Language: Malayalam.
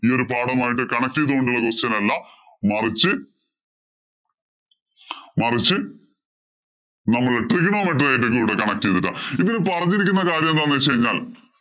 ഈ ഒരു പാഠവുമായിട്ട് connect ചെയ്തു കൊണ്ടുള്ള ഒരു question അല്ല. മറിച്ച് മറിച്ച് നമ്മളുടെ connect ചെയ്തിട്ടാ, ഇതില് പറഞ്ഞിരിക്കുന്ന കാര്യം എന്താന്ന് വച്ച് കഴിഞ്ഞാല്‍